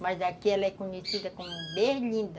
Mas aqui ela é conhecida como berlinda.